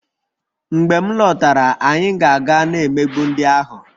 Mgbe m lọtara, anyị ga-aga na-emegbu ndị ahụ